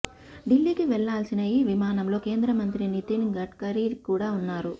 ఢిల్లీకి వెళ్లాల్సిన ఈ విమానంలో కేంద్రమంత్రి నితిన్ గడ్కరీ కూడా ఉన్నారు